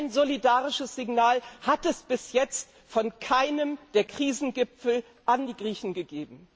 So ein solidarisches Signal hat es bis jetzt von keinem der Krisengipfel an die Griechen gegeben.